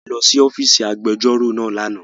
A lọ si ọfiisi agbẹjọro naa lana